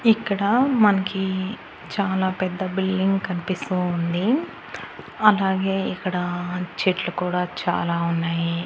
ఇక్కడ మనకి చాలా పెద్ద బిల్డింగ్ కన్పిస్తూ ఉంది అలాగే ఇక్కడ చెట్లు కూడా చాలా ఉన్నాయి.